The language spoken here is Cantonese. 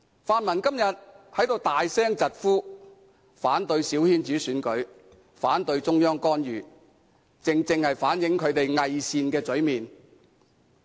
泛民今天在此大聲疾呼，反對小圈子選舉，反對中央干預，正正反映出其偽善的嘴臉。